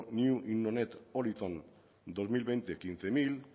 dos mil veinte hamabost mila